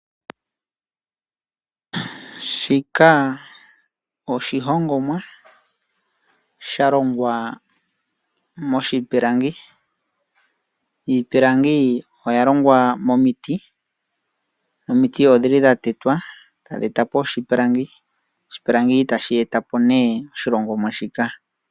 Shika oshihongomwa sha longwa moshipilangi. Iipilangi oya longwa momiti, omiti odhili dha tetwa tadhi eta po oshipilangi. Oshipilangi tashi eta po nee oshihongomwa shika.